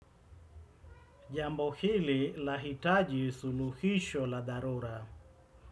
Jambo hili, lahitaji suluhisho la dharura.